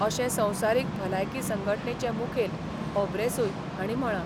अशें संवसारीक भलायकी संघटणेचे मुखेल होब्रेसूय हांणी म्हळां.